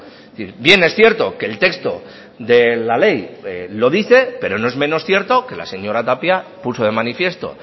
es decir bien es cierto que el texto de la ley lo dice pero no es menos cierto que la señora tapia puso de manifiesto